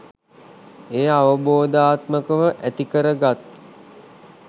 එය අවබෝධාත්මකව ඇතිකරගත්